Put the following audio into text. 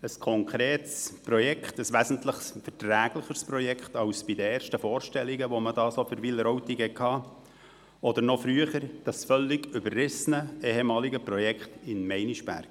Ein konkretes Projekt, ein wesentlich verträglicheres Projekt als die Vorstellungen, die man zuerst für Wileroltigen so hatte, oder noch früher, mit dem völlig überrissenen, ehemaligen Projekt in Meinisberg.